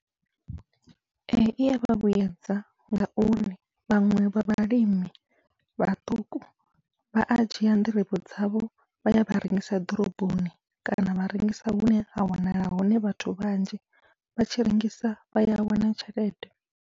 Ee iya vha vhuyedza ngauri vhaṅwe vha vhalimi vhaṱuku vha a dzhia nḓirivhe dzavho vha ya vha rengisa ḓoroboni kana vha rengisa hune ha wanala hone vhathu vhanzhi, vha tshi rengisa vha ya wana tshelede.